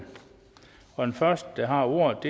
og den første der har ordet